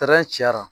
cayara